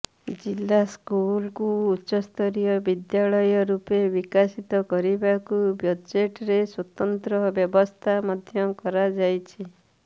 ଜିଲ୍ଲା ସ୍କୁଲକୁ ଉଚ୍ଚସ୍ତରୀୟ ବିଦ୍ୟାଳୟ ରୂପେ ବିକଶିତ କରିବାକୁ ବଜେଟରେ ସ୍ବତନ୍ତ୍ର ବ୍ୟବସ୍ଥା ମଧ୍ୟ କରାଯାଇଛି